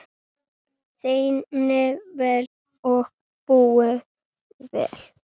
Þéni vel og búi vel.